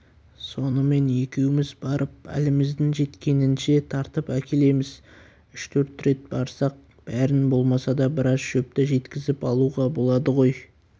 сонымен екеуміз барып әліміздің жеткенінше тартып әкелеміз үш-төрт рет барсақ бәрін болмаса да біраз шөпті жеткізіп алуға болады ғой